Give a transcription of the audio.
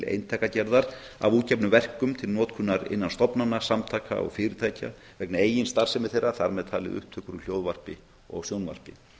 eintakagerðar af útgefnum verkum til notkunar innan stofnana samtaka og fyrirtækja vegna eigin starfsemi þeirra þar með talin upptöku úr hljóðvarpi og sjónvarpi